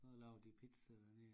Så laver de de pizza dernede